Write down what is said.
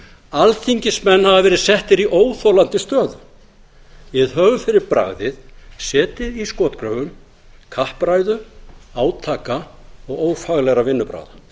alþingismenn hafa verið settir í óþolandi stöðu við höfum fyrir bragðið setið í skotgröfum kappræðu átaka og ófaglegra vinnubragða